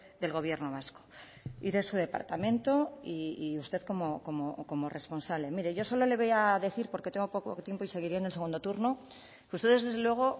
del gobierno vasco y de su departamento y usted como responsable mire yo solo le voy a decir porque tengo poco tiempo y seguiré en el segundo turno que ustedes desde luego